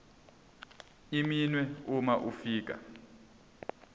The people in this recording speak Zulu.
iminwe uma ufika